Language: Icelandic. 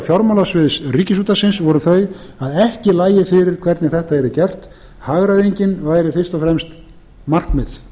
fjármálasviðs ríkisútvarpsins voru þau að ekki lægi fyrir hvernig þetta yrði gert hagræðingin væri fyrst og fremst markmið